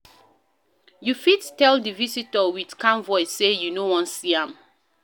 You fit tell di visitor with calm voice sey you no wan see am